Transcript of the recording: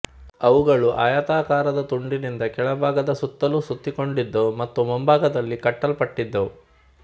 ಅವುಗಳು ಆಯತಾಕಾರದ ತುಂಡಿನಿಂದ ಕೆಳಭಾಗದ ಸುತ್ತಲೂ ಸುತ್ತಿಕೊಂಡಿದ್ದವು ಮತ್ತು ಮುಂಭಾಗದಲ್ಲಿ ಕಟ್ಟಲ್ಪಟ್ಟಿದ್ದವು